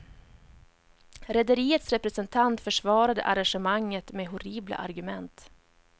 Rederiets representant försvarade arrangemanget med horribla argument.